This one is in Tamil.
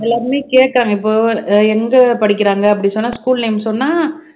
எல்லாருமே கேட்டாங்க இப்ப எங்க படிக்கறாங்க அப்படி சொன்னா school name சொன்னா